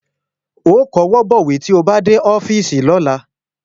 Ó kọwọ́ bọ̀wé tí ó bá dé ọ́fíìsì lọ́la